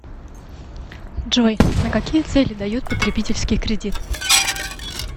джой на какие цели дают потребительский кредит